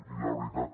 i la veritat